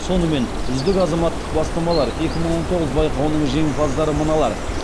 сонымен үздік азаматтық бастамалар екі мың он тоғыз байқауының жеңімпаздары мыналар